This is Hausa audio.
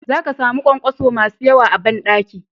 Za ka samu ƙwanƙwaso masu yawa a banɗaki.